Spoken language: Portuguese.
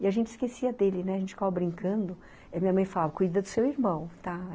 E a gente esquecia dele, né, a gente ficava brincando, e a minha mãe falava, cuida do seu irmão, tá?